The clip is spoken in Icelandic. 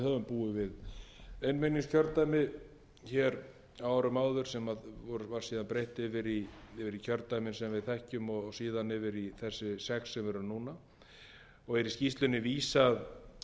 búið við einmenningskjördæmi á árum áður sem var síðan breytt yfir í kjördæmi sem við þekkjum og síðan yfir í þessi sex sem við erum í núna og er í skýrslunni vísað í